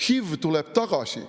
HIV tuleb tagasi.